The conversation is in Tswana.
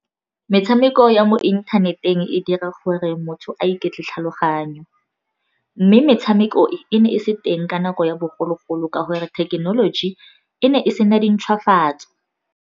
Metshameko ya mo inthaneteng e dira gore motho a iketle tlhaloganyo, mme metshameko e ne e se teng ka nako ya bogologolo ka gore thekenoloji e ne e sena dintshwafatso.